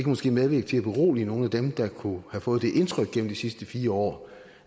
måske medvirke til at berolige nogle af dem der kunne have fået det indtryk igennem de sidste fire år